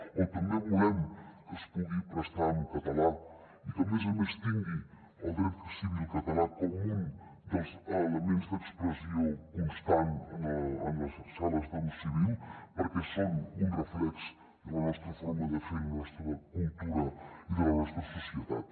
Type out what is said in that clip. o també volem que es pugui prestar en català i que a més a més tingui el dret civil català com un dels elements d’expressió constant en les sales del civil perquè són un reflex de la nostra forma de fer de la nostra cultura i de la nostra societat